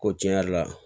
Ko tiɲɛ yɛrɛ la